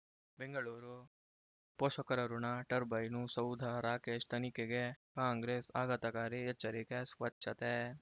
ಬೆಂಗಳೂರು ಪೋಷಕರಋಣ ಟರ್ಬೈನು ಸೌಧ ರಾಕೇಶ್ ತನಿಖೆಗೆ ಕಾಂಗ್ರೆಸ್ ಆಘಾತಕಾರಿ ಎಚ್ಚರಿಕೆ ಸ್ವಚ್ಛತೆ